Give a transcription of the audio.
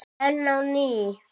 Ein á ný.